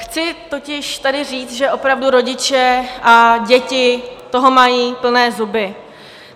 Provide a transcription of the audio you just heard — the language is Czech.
Chci totiž tady říct, že opravdu rodiče a děti toho mají plné zuby.